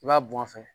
I b'a bɔn a fɛ